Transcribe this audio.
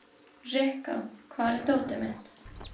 Rikka, hvar er dótið mitt?